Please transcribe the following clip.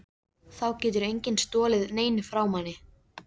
Þá getur enginn stolið neinu frá manni.